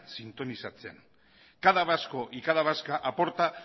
sintonizatzen cada vasco y cada vasca aporta